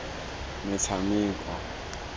metshameko